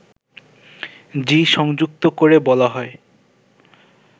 জী সংযুক্ত করে বলা হয়